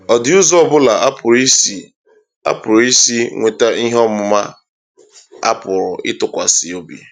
Ọ dị ụzọ ọbụla a pụrụ isi a pụrụ isi nweta ihe ọmụma a pụrụ ịtụkwasị obi?